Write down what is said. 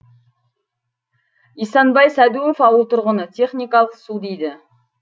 исанбай сәдуов ауыл тұрғыны техникалық су дейді